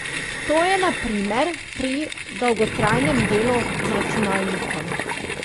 To je na primer pri dolgotrajnem delu z računalnikom.